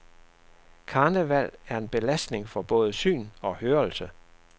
Karneval er en belastning for både syn og hørelse.